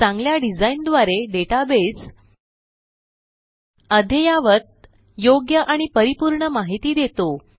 चांगल्या डिझाइन द्वारे डेटाबेस अद्ययावत योग्य आणि परिपूर्ण माहिती देतो